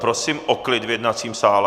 Prosím o klid v jednacím sále.